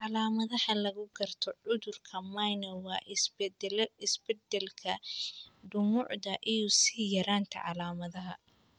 Calaamadaha lagu garto cudurka Mnire waa isbedbeddelka, dhumucda iyo sii yaraanta calaamadaha.